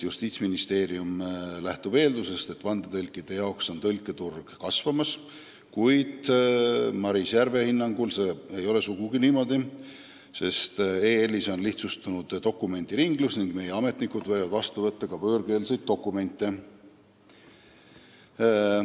Justiitsministeerium lähtub eeldusest, et vandetõlkide tõlketurg on kasvamas, kuid Maris Järve hinnangul ei ole see sugugi niimoodi, sest Euroopa Liidus on dokumendiringlus lihtsustunud ning meie ametnikud võivad vastu võtta ka võõrkeelseid dokumente.